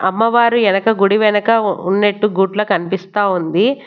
అమ్మవారి ఎనక గుడి వెనక ఉన్నట్టు గుట్ల కనిపిస్తాఉంది.